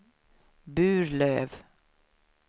Burlöv